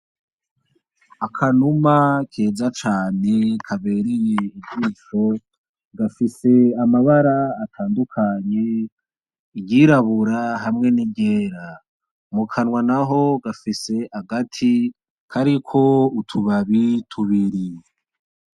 Akanuma keza cane kabereye ijisho, gafise amabara atandukanye iryirabura hamwe n'iryera .Mu kanwa naho gafise agati kariko utubabi tubiri.